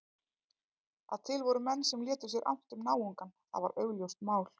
Að til voru menn sem létu sér annt um náungann, það var augljóst mál.